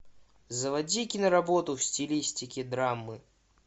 заводи киноработу в стилистике драмы